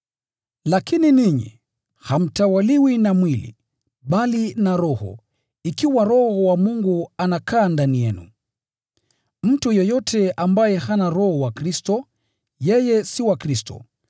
Lakini ninyi, hamtawaliwi na mwili, bali na Roho, ikiwa Roho wa Mungu anakaa ndani yenu. Mtu yeyote ambaye hana Roho wa Kristo, yeye si wa Kristo.